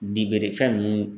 fɛn nunnu.